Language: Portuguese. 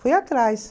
Fui atrás.